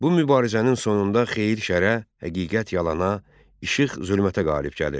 Bu mübarizənin sonunda xeyir şəra, həqiqət yalana, işıq zülmətə qalib gəlir.